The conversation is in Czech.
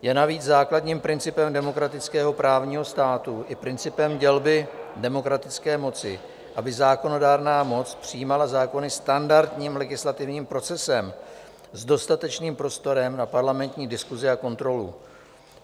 Je navíc základním principem demokratického právního státu i principem dělby demokratické moci, aby zákonodárná moc přijímala zákony standardním legislativním procesem s dostatečným prostorem na parlamentní diskusi a kontrolu.